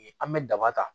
An bɛ daba ta